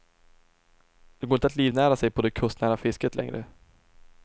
Det går inte att livnära sig på det kustnära fisket längre.